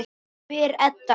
spyr Edda.